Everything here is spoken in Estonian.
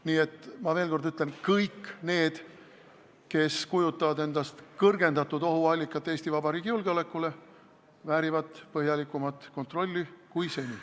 Nii et ma veel kord ütlen: kõik need, kes kujutavad endast kõrgendatud ohtu Eesti Vabariigi julgeolekule, väärivad põhjalikumat kontrolli kui seni.